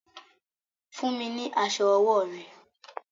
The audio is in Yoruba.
Fún mi ní aṣọ ọwọ́ rẹ!